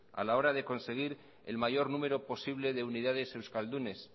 a la hora de conseguir el mayor número posible de unidades euskaldunes